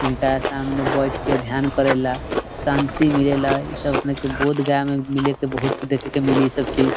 इनकरा सामने बइठ के ध्यान करेला शांति मिलेला इ सब अपने के बोध गया में मिले के बहुत दिखे के मिली इ सब चीज़।